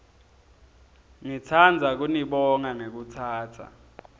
ngitsandza kunibonga ngekutsatsa